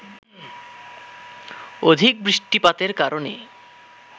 অধিক বৃষ্টিপাতের কারণে